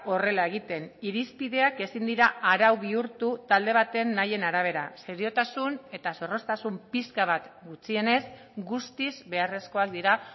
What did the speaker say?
horrela egiten irizpideak ezin dira arau bihurtu talde baten nahien arabera seriotasun eta zorroztasun pixka bat gutxienez guztiz beharrezkoak dira